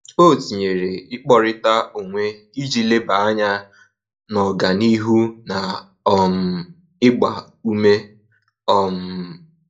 O tinyere ikpọrita onwe iji leba anya n'ọganihu na um ịgba ume um